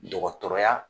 Dɔgɔtɔrɔya